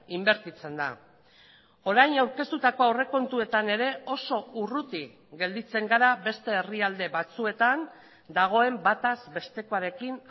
inbertitzen da orain aurkeztutako aurrekontuetan ere oso urruti gelditzen gara beste herrialde batzuetan dagoen bataz bestekoarekin